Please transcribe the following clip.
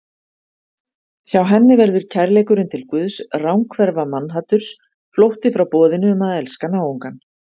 Hjá henni verður kærleikurinn til Guðs ranghverfa mannhaturs, flótti frá boðinu um að elska náungann.